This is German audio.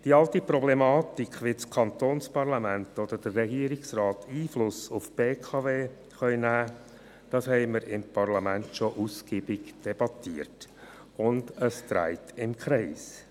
Die alte Problematik, wie das Kantonsparlament oder der Regierungsrat Einfluss auf die BKW nehmen können, haben wir im Parlament ausgiebig debattiert, und das dreht sich im Kreis.